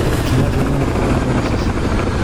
kimoche inendet kolenjon asisige.